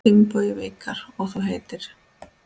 Finnbogi Vikar: Og þú heitir?